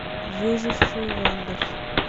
выжившие в андах